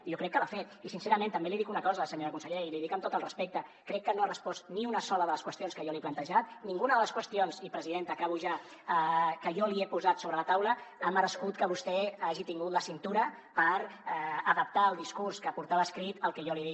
jo crec que l’ha fet i sincerament també li dic una cosa senyora consellera i li ho dic amb tot el respecte crec que no ha respost ni una sola de les qüestions que jo li he plantejat ninguna de les qüestions i presidenta acabo ja que jo li he posat sobre la taula ha merescut que vostè hagi tingut la cintura per adaptar el discurs que portava escrit al que jo li he dit